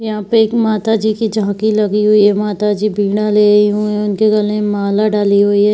यहाँ पे एक माता जी की झाँकी लगी हुई है माता जी वीणा लिए हुए हैं उनके गले में माला डाली हुई है।